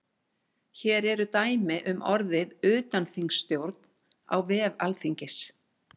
hér eru dæmi um orðið utanþingsstjórn á vef alþingis